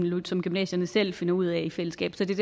som gymnasierne selv finder ud af i fællesskab så det